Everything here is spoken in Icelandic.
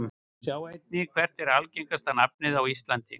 Sjá einnig: Hvert er algengasta nafn á íslandi?